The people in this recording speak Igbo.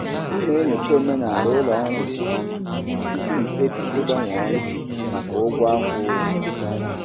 M na-enyocha omenala ụlọ ọrụ nke ọma tupu m ekpebi ịgbanwe ọrụ maka ụgwọ akwụ ụgwọ.